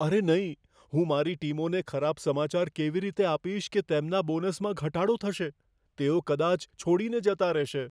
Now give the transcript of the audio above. અરે નહીં...હું મારી ટીમોને ખરાબ સમાચાર કેવી રીતે આપીશ કે તેમના બોનસમાં ઘટાડો થશે? તેઓ કદાચ છોડીને જતા રહેશે.